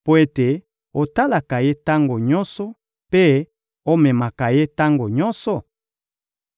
mpo ete otalaka ye tango nyonso mpe omekaka ye tango nyonso?